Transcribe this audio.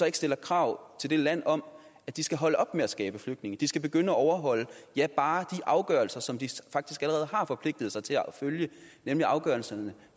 ikke stiller krav til det land om at de skal holde op med at skabe flygtninge at de skal begynde at overholde ja bare de afgørelser som de faktisk allerede har forpligtet sig til at følge nemlig afgørelserne